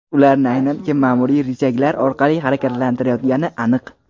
Ularni aynan kim ma’muriy richaglar orqali harakatlantirayotgani aniq.